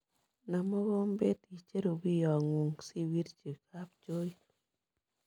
Nam mokombeet icheru biyoong'ung' siwirchi kabchooit